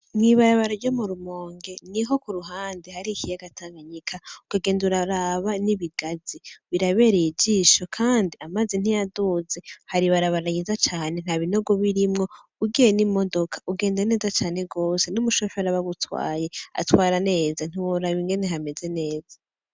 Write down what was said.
Mwibarabara ryo murumonge niho kuruhande hari ikiyaga tanganyika ukagenda uraraba n'ibigazi birabereye ijisho, kandi amazi ntiyaduze hari ibarabara ryiza cane ntabinogo birimwo ugiye n'imodoka ugende neza cane gose n'umushoferi aba agutwaye atwara neza ntiworaba ingene hameze neza.